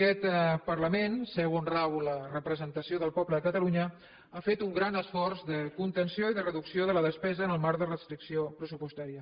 aquest parlament seu on rau la representació del poble de catalunya ha fet un gran esforç de contenció i de reducció de la despesa en el marc de restricció pressupostària